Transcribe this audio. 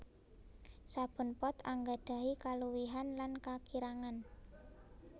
Saben pot anggadhahi kaluwihan lan kakirangan